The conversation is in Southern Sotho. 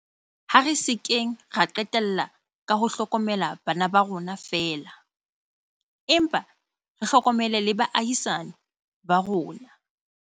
Ha re se keng ra qetella ka ho hlokomela bana ba rona feela, empa re hlokomele le ba baahisani ba rona.